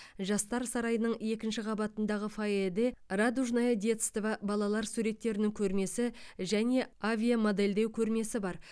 жастар сарайының екінші қабатындағы фойеде радужное детство балалар суреттерінің көрмесі және авиамодельдеу көрмесі бар